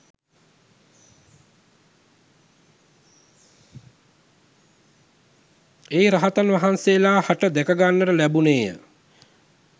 ඒ රහතන් වහන්සේලා හට දැකගන්නට ලැබුණේ ය